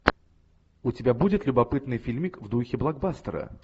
у тебя будет любопытный фильмик в духе блокбастера